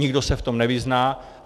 Nikdo se v tom nevyzná.